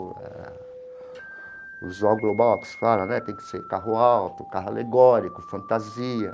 Eh o visual global que se fala né tem que ser carro alto, carro alegórico, fantasia.